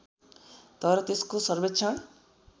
तर त्यसको सर्वेक्षण